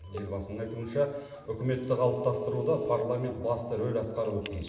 елбасының айтуынша үкіметті қалыптастыруда парламент басты рөл атқаруы тиіс